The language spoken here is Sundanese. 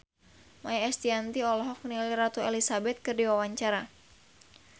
Maia Estianty olohok ningali Ratu Elizabeth keur diwawancara